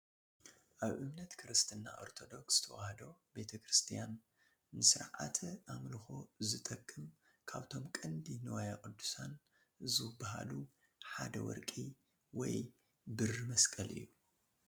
ኣብ እምነት ክርስትና ኦርቶዶክስ ተዋህዶ ቤተ ክርስትያን ንስርዓተ ኣምልኾ ዝጠቅም ካብቶም ቀንዲ ንዋየ ቅድሳት ዝባሃሉ ሓደ ወርቂ ወይ ብሪ መስቀል እዩ፡፡